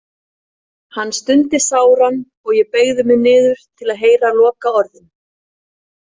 Hann stundi sáran og ég beygði mig niður til að heyra lokaorðin.